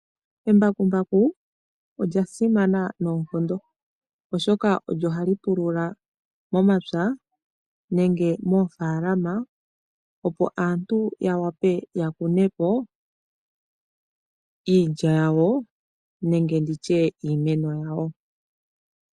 Embakumbaku olya simana nonkondo oshoka olyo hali pulula momapya nenge moofalama opo aantu ya wape ya kunepo iilya yawo nenge nditye iimeno yawo.